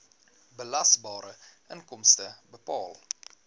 belasbare inkomste bepaal